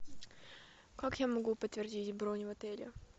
как я могу подтвердить бронь в отеле